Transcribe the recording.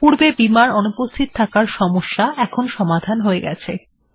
পূর্বের বিমার্ অনুপস্থিত থাকার সমস্যা এখন সমাধান হয়ে গেছে